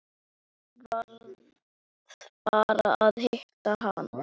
Varð bara að hitta hana.